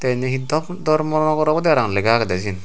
iyan he dharmanagar obode parapang lega agede sin.